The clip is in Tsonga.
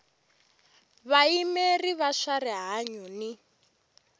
vayimeri va swa rihanyu ni